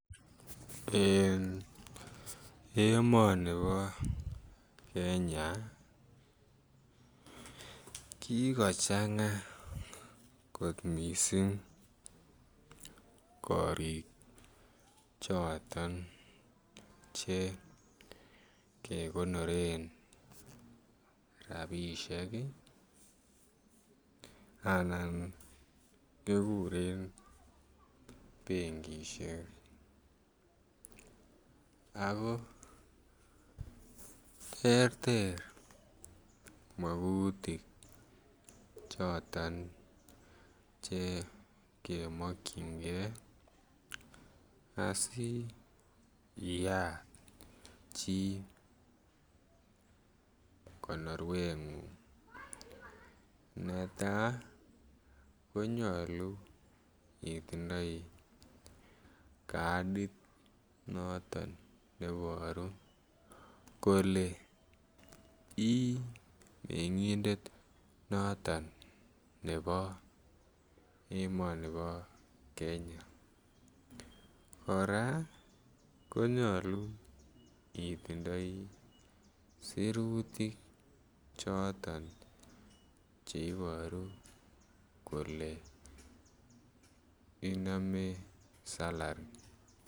En emoni bo Kenya kikochanga kot mising korik choton Che kekonoren rabisiek anan kiguren benkisiek ago terter magutik choton Che kemokyinge asi iyat chi konorwengung netai ko nyolu itindoi kadit noton neiboru kole ii mengindet noton nebo emoni bo Kenya kora ko nyolu itindoi sirutik choton Che Iboru kole inome salari